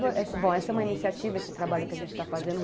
Bom, essa é uma iniciativa, esse trabalho que a gente está fazendo.